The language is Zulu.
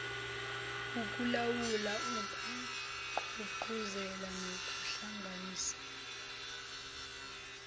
ukulawula ukugqugquzela nokuhlanganisa